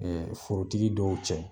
Ɛ forotigi dɔw cɛ